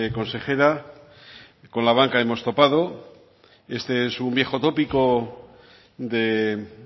consejera con la banca hemos topado este es un viejo tópico de